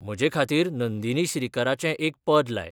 म्हजेखातीर नंदीनी श्रीकराचें एक पद लाय